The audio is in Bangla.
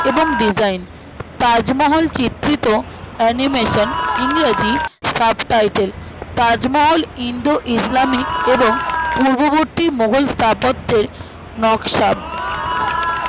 এবং design তাজমহল চিত্রিত animation ইংরাজি subtitle তাজমহল ইন্দো ইসলামিক এবং পূর্ববর্তী মোঘল স্থাপত্যের নকশার হম